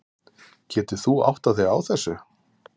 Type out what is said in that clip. Getur þú áttað þig á þessu?